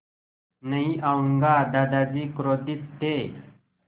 नहीं आऊँगा दादाजी क्रोधित थे